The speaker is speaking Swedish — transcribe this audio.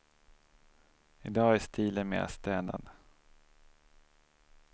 I dag är stilen mera städad.